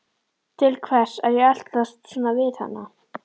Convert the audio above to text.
Til hvers er ég að eltast svona við hana?